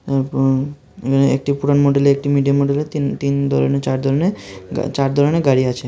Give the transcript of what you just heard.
উঁহু এখানে একটি পুরান মডেলের একটি মিডিয়াম মডেলের তিন তিন ধরনের চার ধরনের চার ধরনের গাড়ি আছে।